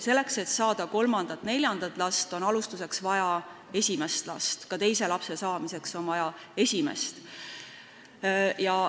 Selleks et saada kolmandat ja neljandat last, on alustuseks vaja esimest last, ka teise lapse saamiseks on vaja esimest.